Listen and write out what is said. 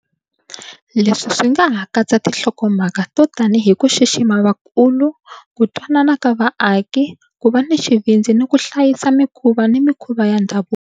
Leswi swi nga ha katsa tinhlokomhaka to tanihi ku xixima vakulu, ku twanana ka vaaki, ku va ni xivindzi ni ku hlayisa mikhuva ni mikhuva ya ndhavuko.